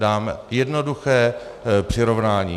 Dám jednoduché přirovnání.